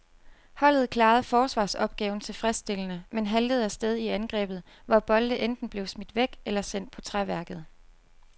Holdet klarede forsvarsopgaven tilfredsstillende, men haltede af sted i angrebet, hvor bolde enten blev smidt væk eller sendt på træværket.